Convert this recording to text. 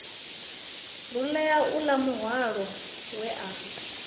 rulea uḽa muhwalo we a